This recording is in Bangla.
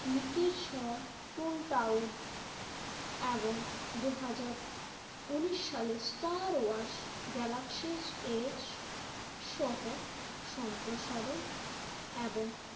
মিকি শো টুন টাউট এবং দুই হাজার উন্নিশ সালের স্টার ওয়াশ গ্যালাক্সি এজ সহ সম্প্রসারণ এবং